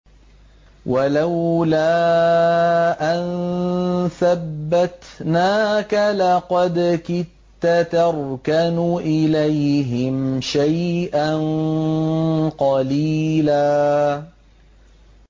وَلَوْلَا أَن ثَبَّتْنَاكَ لَقَدْ كِدتَّ تَرْكَنُ إِلَيْهِمْ شَيْئًا قَلِيلًا